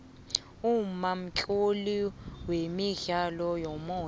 umma mtloli wemidlalo yomoya